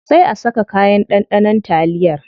Sai a saka kayan ɗanɗanon taliyar.